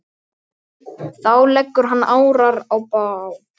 Þá leggur hann árar í bát.